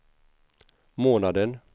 månaden